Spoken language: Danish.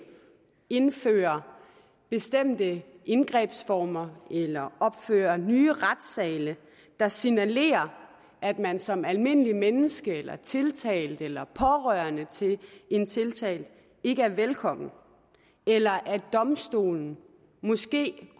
indføre bestemte indgrebsformer eller opføre nye retssale der signalerer at man som almindeligt menneske tiltalt eller pårørende til en tiltalt ikke er velkommen eller at domstolen måske